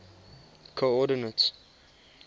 coordinates